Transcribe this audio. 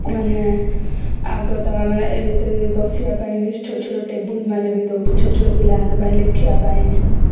ମାନେ ଆଗ ତ ମାନେ ବସିବା ପାଇଁ ବି ଛୋଟ ଛୋଟ ଟେବୁଲ ମାନେ ଦଉଛନ୍ତି ଛୋଟ ଛୋଟ ପିଲା ମାନଙ୍କ ପାଇଁ ଲେଖିବା ପାଇଁ